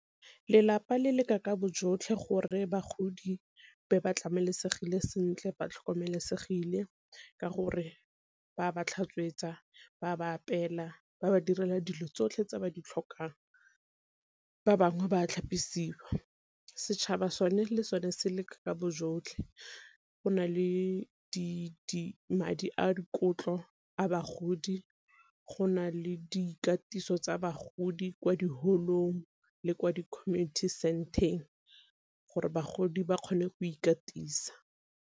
Lelapa le leka ka bo jotlhe gore bagodi be ba tlamelesegile sentle ba tlhokomelesegile ka gore ba ba tlhatswetsa, ba ba apeela, ba ba direla dilo tsotlhe tse ba di tlhokang, ba bangwe ba tlhapisiwa. Setšhaba sone le sone se leka bo jotlhe go na le madi a dikotlo a bagodi, gona le dikatiso tsa bagodi kwa di-hall-ong le kwa di-community centre-ng gore bagodi ba kgone go ikatisa.